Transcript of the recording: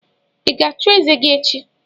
Ị ga-achụ eze gị echi?